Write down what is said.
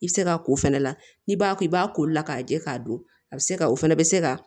I bɛ se ka ko fɛnɛ la n'i b'a ko i b'a ko la k'a jɛ k'a don a bɛ se ka o fɛnɛ bɛ se ka